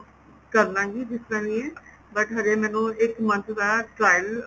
ਕਰਲਾਂਗੀ ਜਿਸ ਤਰ੍ਹਾਂ ਕੀ but ਹਜੇ ਮੈਨੂੰ ਇੱਕ month ਦਾ trial